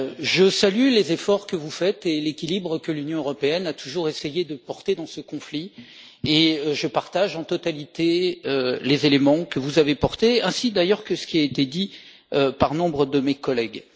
Je salue les efforts que vous faites et l'équilibre que l'Union européenne a toujours essayé de porter dans ce conflit, et je partage en totalité les éléments que vous avez portés ainsi que ce qui a été dit par nombre de mes collègues.